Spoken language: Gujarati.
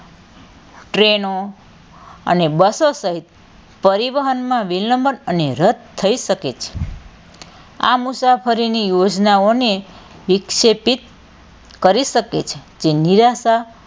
ટ્રેનો અને બસો સહીત પરિવહનમાં વિલંબન અને રદ થઇ શકે છે આ મુસાફરીની યોજનાઓને વિક્ષેપિત કરી શકે છે તે નિરાશા,